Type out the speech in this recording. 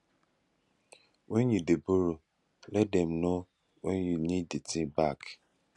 when you dey borrow let dem know when you need the thing back